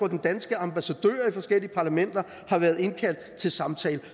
at den danske ambassadør i forskellige parlamenter har været indkaldt til samtale